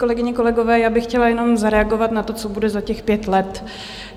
Kolegyně, kolegové, já bych chtěla jenom zareagovat na to, co bude za těch pět let.